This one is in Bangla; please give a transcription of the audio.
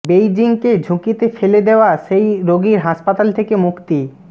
বেইজিংকে ঝুঁকিতে ফেলা দেয়া সেই রোগীর হাসপাতাল থেকে মুক্তি